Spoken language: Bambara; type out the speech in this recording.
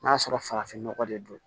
N'a sɔrɔ farafinnɔgɔ de don